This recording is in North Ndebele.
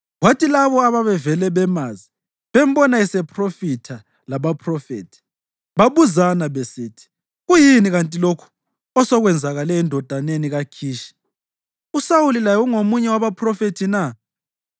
Kwathi labo ababevele bemazi bembona esephrofitha labaphrofethi, babuzana besithi, “Kuyini kanti lokhu osekwenzakale endodaneni kaKhishi? USawuli laye ungomunye wabaphrofethi na?”